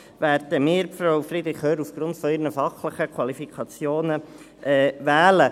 Nichtsdestotrotz werden wir Frau Friederich Hörr aufgrund ihrer fachlichen Qualifikationen wählen.